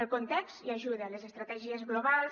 el context hi ajuda les estratègies globals